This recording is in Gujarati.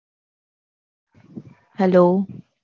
હાલો